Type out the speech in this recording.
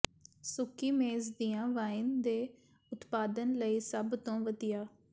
ਸੁੱਕੀ ਮੇਜ਼ ਦੀਆਂ ਵਾਈਨ ਦੇ ਉਤਪਾਦਨ ਲਈ ਸਭ ਤੋਂ ਵਧੀਆ